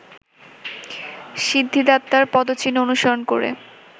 সিদ্ধিদাতার পদচিহ্ন অনুসরণ করে